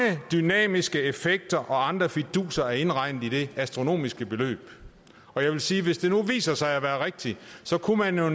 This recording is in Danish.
dynamiske effekter og andre fiduser er indregnet i det astronomiske beløb jeg vil sige at hvis det viser sig at være rigtigt kunne man jo